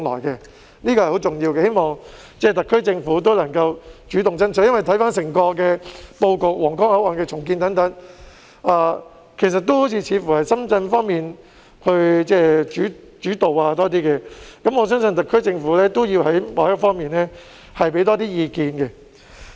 這是十分重要的，我希望特區政府能夠主動爭取，因為回看整個布局，包括皇崗口岸的重建，似乎都是由深圳一方主導，我相信特區政府要在某些方面多提意見。